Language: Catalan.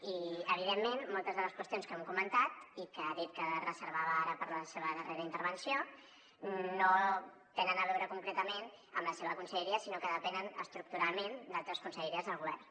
i evidentment moltes de les qüestions que hem comentat i que ha dit que es reservava ara per a la seva darrera intervenció no tenen a veure concretament amb la seva conselleria sinó que depenen estructuralment d’altres conselleries del govern